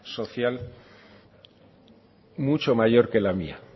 social mucho mayor que la mía